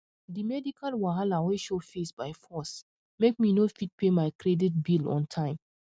the medical wahala wey show face by force make me no fit pay my credit bill on time